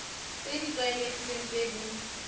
tse di tlwaelegileng tse di